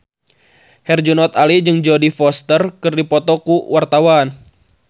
Herjunot Ali jeung Jodie Foster keur dipoto ku wartawan